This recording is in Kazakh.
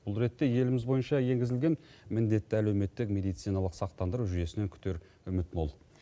бұл ретте еліміз бойынша енгізілген міндеті әлеуметтік мединициналық сақтандыру жүйесінен күтер үміт мол